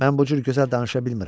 Mən bu cür gözəl danışa bilmirəm.